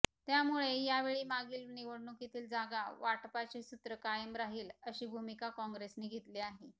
त्यामुळे यावेळी मागील निवडणुकीतील जागा वाटपाचे सूत्र कायम राहिल अशी भूमिका काँग्रेसने घेतली आहे